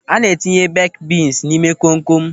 A na-etinye beeki bins n'ime kom kom.